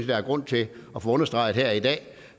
der er grund til at få understreget her i dag